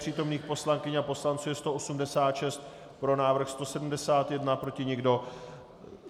Přítomných poslankyň a poslanců je 186, pro návrh 171, proti nikdo.